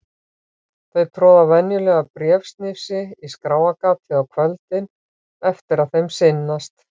Þau troða venjulega bréfsnifsi í skráargatið á kvöldin eftir að þeim sinnast.